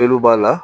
Peluw b'a la